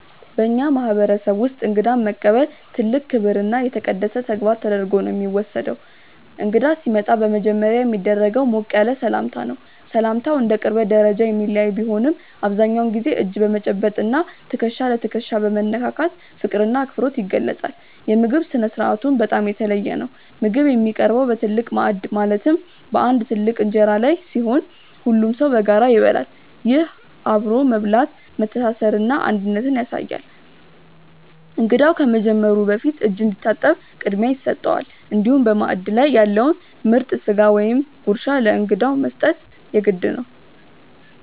በእኛ ማህበረሰብ ውስጥ እንግዳን መቀበል ትልቅ ክብርና የተቀደሰ ተግባር ተደርጎ ነው የሚወሰደው። እንግዳ ሲመጣ በመጀመሪያ የሚደረገው ሞቅ ያለ ሰላምታ ነው። ሰላምታው እንደ ቅርበት ደረጃ የሚለያይ ቢሆንም፣ አብዛኛውን ጊዜ እጅ በመጨበጥ እና ትከሻ ለትከሻ በመነካካት ፍቅርና አክብሮት ይገለጻል። የምግብ ስነ-ስርዓቱም በጣም የተለየ ነው። ምግብ የሚቀርበው በትልቅ ማዕድ ማለትም በአንድ ትልቅ እንጀራ ላይ ሲሆን፣ ሁሉም ሰው በጋራ ይበላል። ይህ አብሮ መብላት መተሳሰርንና አንድነትን ያሳያል። እንግዳው ከመጀመሩ በፊት እጅ እንዲታጠብ ቅድሚያ ይሰጠዋል፤ እንዲሁም በማዕድ ላይ ያለውን ምርጥ ስጋ ወይም ጉርሻ ለእንግዳው መስጠት የግድ ነው።